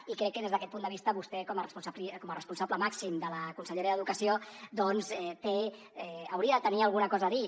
i crec que des d’aquest punt de vista vostè com a responsable màxim de la conselleria d’educació doncs té hauria de tenir alguna cosa a dir